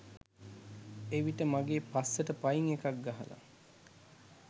එවිට මගේ පස්සට පයින් එකක් ගහලා